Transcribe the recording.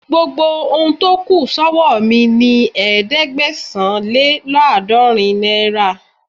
Gbogbo ohun tó kù sọ́wọ́ mi ni ẹ̀ẹ́dẹ́gbẹ̀sán-lé-lọ́gọ́rin náírà..